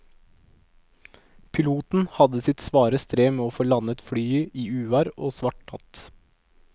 Piloten hadde sitt svare strev med å få landet flyet i uvær og svart natt.